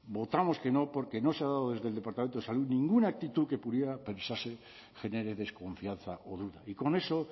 votamos que no porque no se ha dado desde el departamento de salud ninguna actitud que pudiera pensarse genere desconfianza o duda y con eso